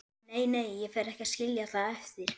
Nei, nei, ég fer ekki að skilja það eftir.